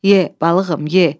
Ye, balığım, ye!